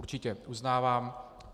Určitě, uznávám.